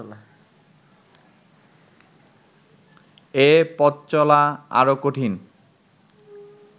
এ পথচলা আরও কঠিন